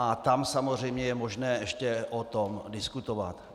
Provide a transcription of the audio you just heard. A tam samozřejmě je možné ještě o tom diskutovat.